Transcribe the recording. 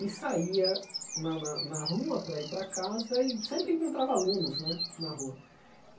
E saía na na na rua para ir para casa e sempre encontrava alunos né na rua.